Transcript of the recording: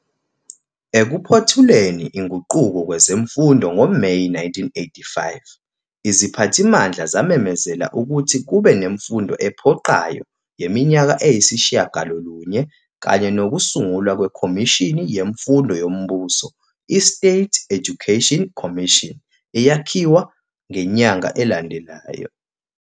Ekuphothuleni inguquko kwezemfundo ngoMeyi 1985, iziphathimandla zamemezela ukuthi kube nemfundo ephoqayo yeminyaka eyisishagalolunye kanye nokusungulwa kweKhomishini yeMfundo yoMbuso i-State Education Commission, eyakhiwa ngenyanga elandelayo.